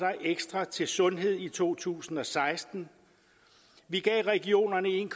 ekstra til sundhed i to tusind og seksten vi gav regionerne en